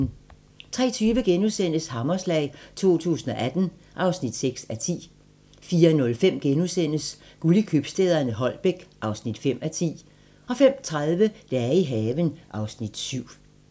03:20: Hammerslag 2018 (6:10)* 04:05: Guld i købstæderne - Holbæk (5:10)* 05:30: Dage i haven (Afs. 7)